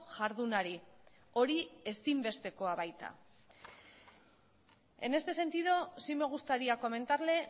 jardunari hori ezinbestekoa baita en este sentido sí me gustaría comentarle